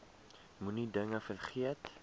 moenie dinge vergeet